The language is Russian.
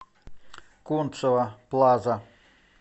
кунцево плаза